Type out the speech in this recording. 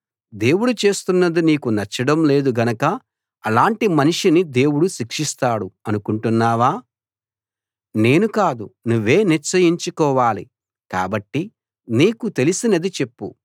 దేవుడు చేస్తున్నది నీకు నచ్చడం లేదు గనక అలాటి మనిషిని దేవుడు శిక్షిస్తాడు అనుకుంటున్నావా నేను కాదు నువ్వే నిశ్చయించుకోవాలి కాబట్టి నీకు తెలిసినది చెప్పు